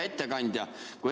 Hea ettekandja!